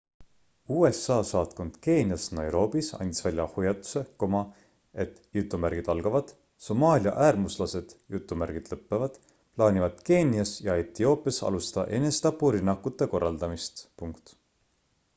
usa saatkond keenias nairobis andis välja hoiatuse et somaalia äärmuslased plaanivad keenias ja etioopias alustada enesetapurünnakute korraldamist